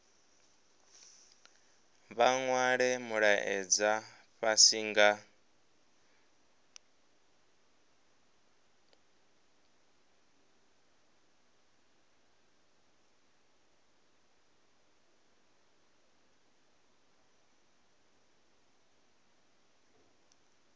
vha nwale mulaedza fhasi nga